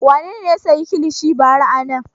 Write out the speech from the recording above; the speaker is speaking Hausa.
Wane ne ya sayi kilishi bara a nan?